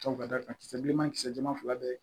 Tɔw ka da kan kisɛ bilenman kisɛ jɛman fila bɛ ye